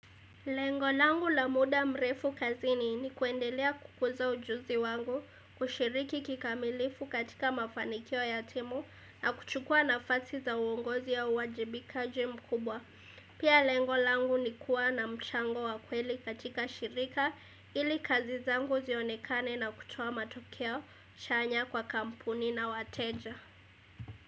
Lengolangu la muda mrefu kazini ni kuendelea kukuza ujuzi wangu, kushiriki kikamilifu katika mafanikio ya timu na kuchukua na fasi za uongozi au uwajibikaji mkubwa. Pia lengolangu ni kuwa na mchango wakweli katika shirika ili kazizangu zionekane na kutoa matokeo, chanya kwa kampuni na wateja.